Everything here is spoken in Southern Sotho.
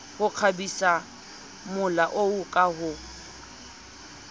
ho kgabisamola oo ka ho